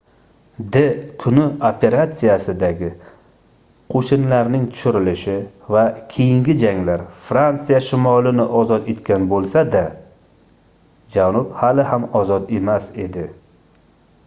d-kuni operatsiyasidagi qoʻshinlarning tushirilishi va keyingi janglar fransiya shimolini ozod etgan boʻlsa-da janub hali ham ozod emas edi